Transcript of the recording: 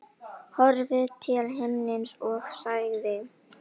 Horfði til himins og sagði